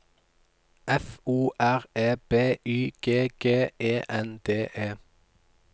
F O R E B Y G G E N D E